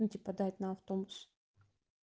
ну типа дать на автобус